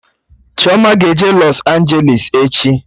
Chioma ga-eje Lọs Anjelis echi